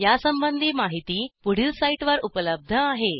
यासंबंधी माहिती पुढील साईटवर उपलब्ध आहे